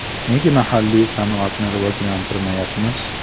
Nega mahalliy sanoatni rivojlantirmayapmiz?